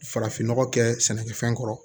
Farafin nɔgɔ kɛ sɛnɛkɛfɛn kɔrɔ